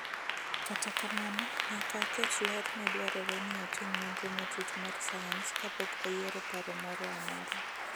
Kata kamano nyaka aket ler ni dwarore ni otim nonro matut mar sayans kapok oyieparo moro amora.